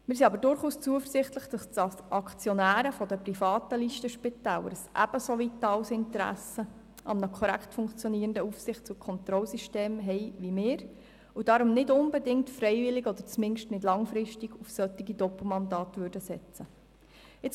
Wir sind jedoch zuversichtlich, dass die Aktionäre der privaten Listenspitäler ein ebenso vitales Interesse an einem korrekt funktionierenden Aufsichts- und Kontrollsystem haben wie wir und darum nicht unbedingt freiwillig, oder zumindest nicht langfristig, auf solche Doppelmandate setzen würden.